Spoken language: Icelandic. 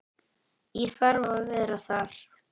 Ég þarf að vera þar.